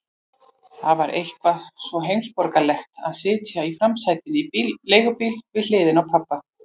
Það var eitthvað svo heimsborgaralegt að sitja í framsætinu í leigubíl við hliðina á pabba.